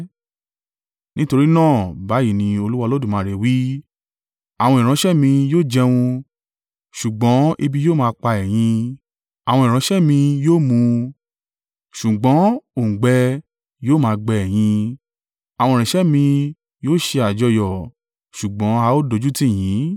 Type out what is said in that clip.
Nítorí náà, báyìí ni Olúwa Olódùmarè wí: “Àwọn ìránṣẹ́ mi yóò jẹun; ṣùgbọ́n ebi yóò máa pa ẹ̀yin, àwọn ìránṣẹ́ mi yóò mu, ṣùgbọ́n òǹgbẹ yóò máa gbẹ ẹ̀yin; àwọn ìránṣẹ́ mi yóò ṣe àjọyọ̀, ṣùgbọ́n a ó dójútì yin.